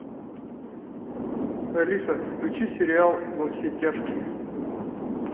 алиса включи сериал во все тяжкие